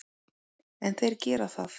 En þeir gera það.